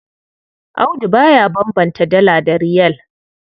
Audu ba ya bambanta Dala da Riyal.